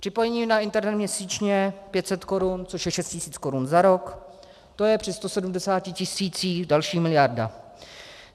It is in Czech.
Připojení na internet měsíčně 500 korun, což je 6 tisíc korun za rok, to je při 170 tisících další miliarda.